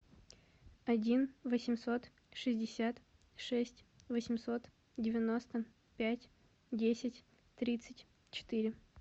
один восемьсот шестьдесят шесть восемьсот девяносто пять десять тридцать четыре